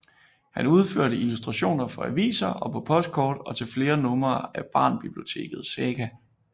Han udførte illustrationer for aviser og på postkort og til flere numre af Barnbiblioteket Saga